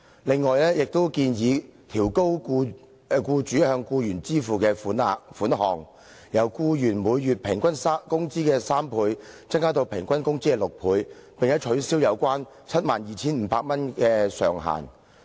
另外，張議員還建議調高僱主須向僱員支付的額外款項，由僱員每月平均工資的3倍，增至平均工資的6倍，並且取消 72,500 元的上限。